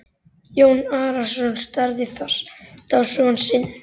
Jón Arason starði fast á son sinn.